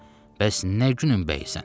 Bəs nə günün bəyisən?